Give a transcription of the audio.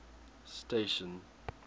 station